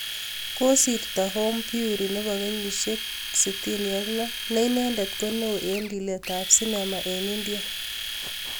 Kasirto Om Puri ne bo kenyishek 66 ne inendet ko neo ing lilet ab sinema eng India